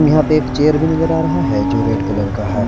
यहां पे एक चेयर भी नजर आ रहा है जो रेड कलर का है।